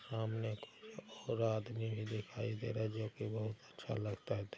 सामने एक खड़ा आदमी दिखाई दे रहा है। देख के बोहत अच्छा लगता है।